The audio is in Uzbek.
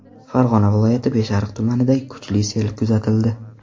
Farg‘ona viloyati Beshariq tumanida kuchli sel kuzatildi.